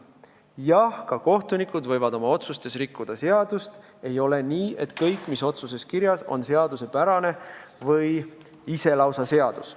Jah, ka kohtunikud võivad oma otsustes rikkuda seadust, ei ole nii, et kõik, mis otsuses kirjas, on seaduspärane või lausa ise seadus.